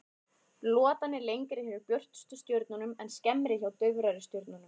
Lotan er lengri hjá björtustu stjörnunum en skemmri hjá daufari stjörnum.